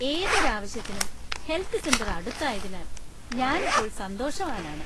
ഏതൊരു ആവശ്യത്തിനും health centre അടുത്തായതിനാൽ ഞാൻ ഇപ്പോൾ സന്തോഷവാനാണ്.